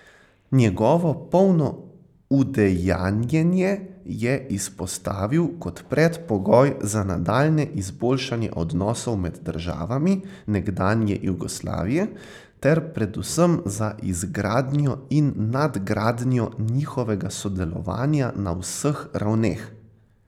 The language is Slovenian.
Njegovo polno udejanjenje je izpostavil kot predpogoj za nadaljnje izboljšanje odnosov med državami nekdanje Jugoslavije ter predvsem za izgradnjo in nadgradnjo njihovega sodelovanja na vseh ravneh.